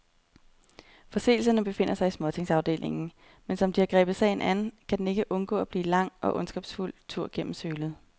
Forseelserne befinder sig i småtingsafdelingen, men som de har grebet sagen an, kan den ikke undgå at blive en lang og ondskabsfuld tur gennem sølet.